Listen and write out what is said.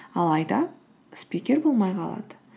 алайда спикер болмай қалады